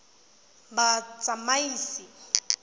batsamaisi